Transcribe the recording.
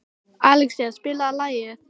Alexía, spilaðu lag.